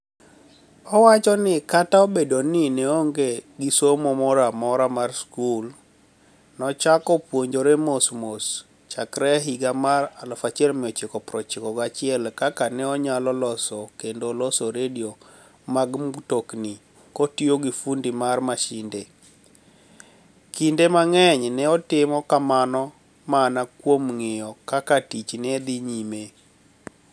Owacho nii kata obedo nii ni e oonige gi somo moro amora mar skul, nochako puonijore mos mos chakre higa mar 1991 kaka oniyalo loso kenido loso redio mag mtoknii kotiyo gi funidi mar masinide, kinide manig'eniy ni e otimo kamano mania kuom nig'iyo kaka tich ni e dhi niyime.